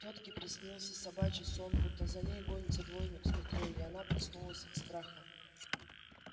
тётке приснился собачий сон будто за ней гонится дворник с метлой и она проснулась от страха